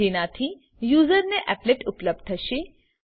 જેનાથી યુસર ને એપ્લેટ ઉપલબ્ધ થશે